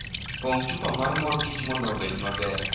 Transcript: Pong'o chupa mar mor kich mondo obed maber